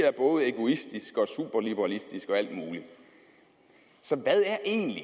er både egoistiske og superliberalistiske og alt muligt så hvad er egentlig